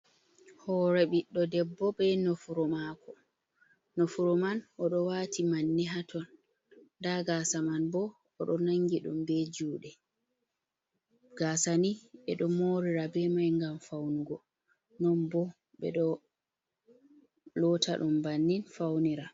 Hoore ɓiɗɗo debbo, be nofru maako. Nofuru man oɗo waati manne haa ton, nda gaasa man bo oɗo nangi ɗum be juuɗe. Gaasa ni ɓe ɗo moorira be mai ngam faunugo, non bo ɓe ɗo loota ɗum bannin faunira.